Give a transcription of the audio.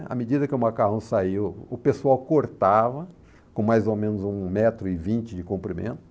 À medida que o macarrão saiu, o pessoal cortava com mais ou menos um metro e vinte de comprimento.